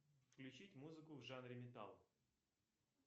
включить музыку в жанре металл